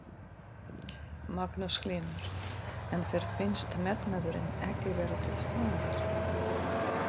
Magnús Hlynur: En þér finnst metnaðurinn ekki vera til staðar?